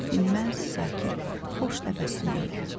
Dinməz, sakit, xoş təbəssümü ilə.